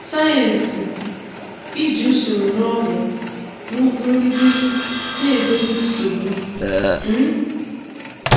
Science-Iji usoro na ọgwụ na ụkpụrụ nduzi na-èdozi nsogbu. um